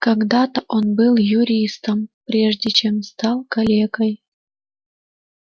когда-то он был юристом прежде чем стал калекой